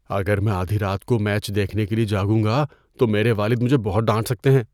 اگر میں آدھی رات کو میچ دیکھنے کے لیے جاگوں گا تو میرے والد مجھے ڈانٹ سکتے ہیں۔